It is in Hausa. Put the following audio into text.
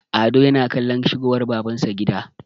ado yana kallon shigowar babansa gida